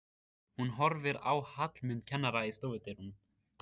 Hún horfir á Hallmund kennara í stofudyrunum.